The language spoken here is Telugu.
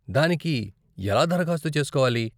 దానికి ఎలా దరఖాస్తు చేసుకోవాలి?